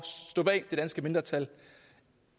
stå bag det danske mindretal